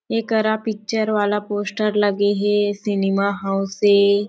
एकरा पिक्चर वाला पोस्टर लगे हे सिनेमा हाउस हे।